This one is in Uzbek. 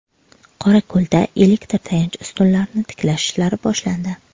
Qorako‘lda elektr tayanch ustunlarini tiklash ishlari boshlandi.